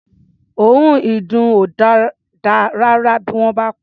Òórùn ìdùn ò dáa rárá bí wọ́n bá pa á.